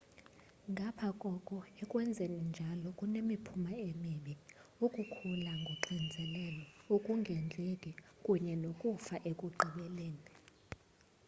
ngapha koko ekwenzeni njalo kunemiphumo emibi ukukhula koxinzelelo ukungondleki kunye nokufa ekugqibeleni